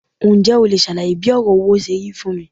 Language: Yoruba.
Ǹjẹ́ o leè sàlàyé bí òrò owó serí fún mi